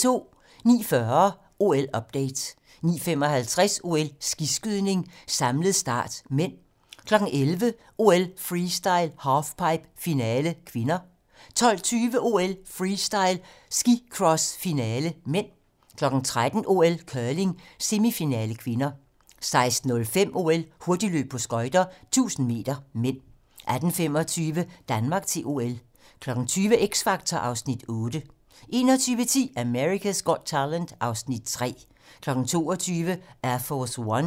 09:40: OL-update 09:55: OL: Skiskydning - samlet start (m) 11:00: OL: Freestyle - halfpipe, finale (k) 12:20: OL: Freestyle - skicross, finale (m) 13:00: OL: Curling - semifinale (k) 16:05: OL: Hurtigløb på skøjter - 1000 m (m) 18:25: Danmark til OL 20:00: X Factor (Afs. 8) 21:10: America's Got Talent (Afs. 3) 22:00: Air Force One